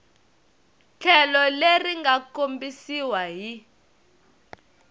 tlhelo leri nga kombisiwa hi